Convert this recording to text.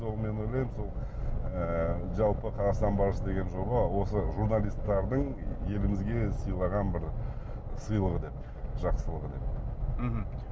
сол мен ойлаймын сол ы жалпы қазақстан барысы деген жоба осы журналисттердің елімізге сыйлаған бір сыйлығы деп жақсылығы деп мхм